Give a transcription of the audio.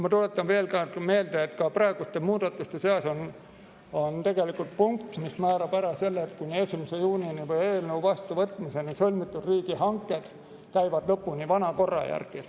Ma tuletan veel kord meelde, et ka praeguste muudatuste seas on punkt, mis määrab ära selle, et kuni 1. juunini või eelnõu vastuvõtmiseni sõlmitud riigihanked lähevad lõpuni vana korra järgi.